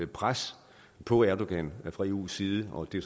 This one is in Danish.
pres på erdogan fra eus side og det